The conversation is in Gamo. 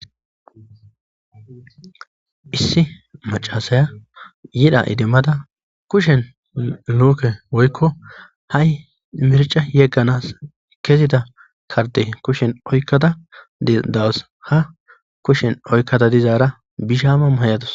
Issi macasaya yidha idimmada kushen luuke woykko ha'i mirca yegganas kezida karde kushen oykkada dawos ha kushen oykkata dizaara bishama maayatos.